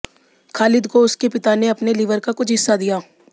खालिद को उसके पिता ने अपने लिवर का कुछ हिस्सा दिया